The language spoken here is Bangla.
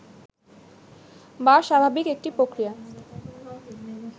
বা স্বাভাবিক একটি প্রক্রিয়া